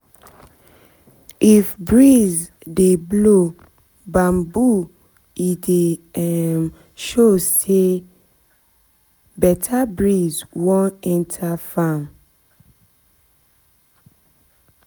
if breeze dey blow bamboo, e dey show say better breeze wan enter farm